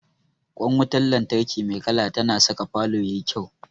Ƙwan wutar lantarki mai kala tana saka falo ya yi kyau.